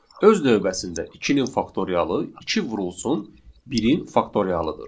Öz növbəsində 2-nin faktorialı 2 vurulsun 1-in faktorialıdır.